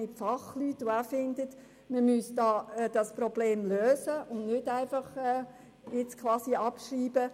Diese Fachleute sind ebenfalls der Meinung, das Problem müsse gelöst werden und sei nicht abzuschreiben.